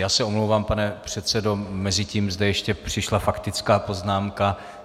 Já se omlouvám, pane předsedo, mezitím sem ještě přišla faktická poznámka.